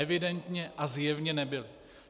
Evidentně a zjevně nebyli.